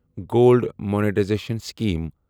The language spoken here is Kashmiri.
gold monetisation scheme